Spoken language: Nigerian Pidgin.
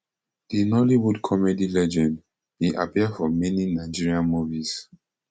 di nollywood comedy legend bin appear for many nigerian movies